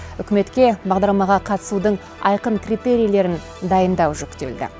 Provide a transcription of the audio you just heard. үкіметке бағдарламаға қатысудың айқын критерийлерін дайындау жүктелді